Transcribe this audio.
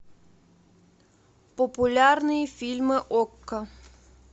популярные фильмы окко